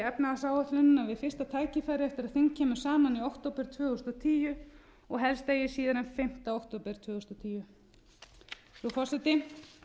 við fyrsta tækifæri eftir að þing kemur saman í október tvö þúsund og tíu og helst eigi síðar en fimmta október tvö þúsund og tíu frú forseti